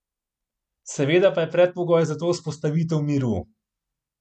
Seveda pa je predpogoj za to vzpostavitev miru.